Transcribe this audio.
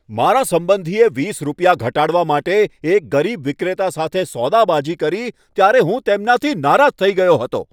મારા સંબંધીએ વીસ રૂપિયા ઘટાડવા માટે એક ગરીબ વિક્રેતા સાથે સોદાબાજી કરી ત્યારે હું તેમનાથી નારાજ થઈ ગયો હતો.